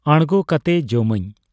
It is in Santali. ᱟᱬᱜᱚ ᱠᱟᱛᱮ ᱡᱚᱢᱟᱹᱧ ᱾